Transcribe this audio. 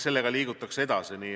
Sellega liigutakse edasi.